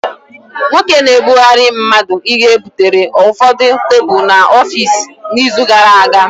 Nwoke na-ebugara mmadu Ihe butere ụfọdụ tebụl n'ọfịs n'izu gara aga